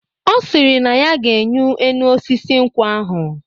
Ọ sịrị na ya ga-enyi enu osisi nkwụ ahụ.